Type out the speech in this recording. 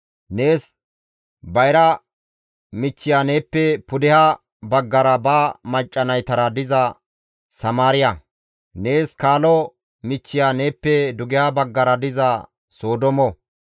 Nees bayra michchiya neeppe pudeha baggara ba macca naytara diza Samaariya; nees kaalo michchiya neeppe dugeha baggara diza Sodoomo.